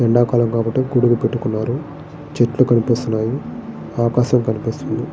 ఎండా కాలం కాబట్టి గొడుగు పట్టుకున్నారు. చెట్లు కనిపిస్తున్నాయి. ఆకాశం కనిపిస్తోంది.